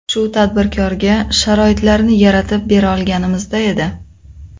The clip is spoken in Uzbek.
Shu tadbirkorga sharoitlarni yaratib bera olganimizda edi.